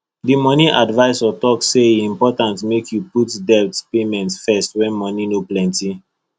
the money advisor talk say e important make you put debt payment first when money no plenty